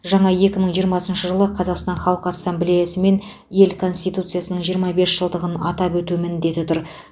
жаңа екі мың жиырмасыншы жылы қазақстан халық ассамблеясы мен ел конституциясының жиырма бес жылдығын атап өту міндеті тұр